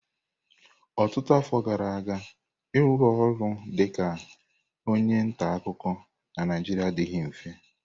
Ọtụtụ afọ gara aga, ịrụ ọrụ dị ka onye nta akụkọ na Naijiria adịghị mfe.